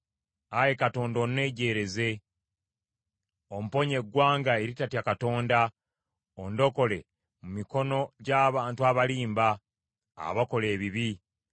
Ayi Katonda, onnejjeereze omponye eggwanga eritatya Katonda ondokole mu mikono gy’abantu abalimba, abakola ebibi.